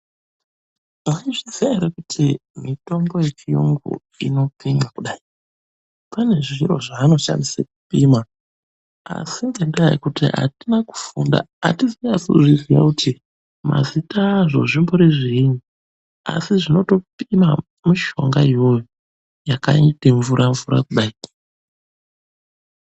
Mwaizviziya ere kuti mitombo yechiyungu inopimwa kudai? Pane zviro zvaanoshandise kupima, asi ngendaa yekuti atina kufunda atizonasi kuzviziya kuti mazita azvo zvimbori zviini. Asi zvinotopima mushonga iyoyo yakaite mvura-mvura kudai.